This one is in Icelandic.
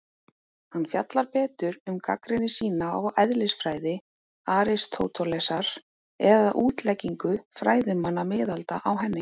Hann fjallar betur um gagnrýni sína á eðlisfræði Aristótelesar eða útleggingu fræðimanna miðalda á henni.